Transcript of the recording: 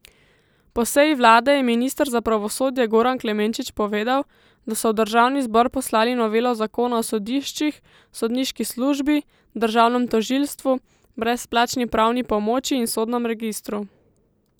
Po seji vlade je minister za pravosodje Goran Klemenčič povedal, da so v državni zbor poslali novelo zakona o sodiščih, sodniški službi, državnem tožilstvu, brezplačni pravni pomoči in sodnem registru.